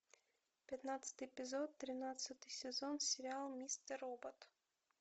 пятнадцатый эпизод тринадцатый сезон сериал мистер робот